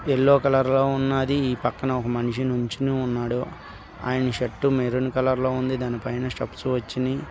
Yellow colour లో ఉన్నది. ఈ పక్కన ఒక మనిషి నించొని ఉన్నాడు. ఆయన షర్టు మెరున్ కలర్ లో ఉంది. దాని పైన స్టెప్స్ వచ్చినాయి.